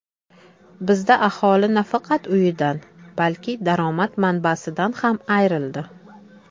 Bizda aholi nafaqat uyidan, balki daromad manbasidan ham ayrildi.